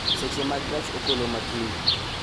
Seche mag gach okoloma kiny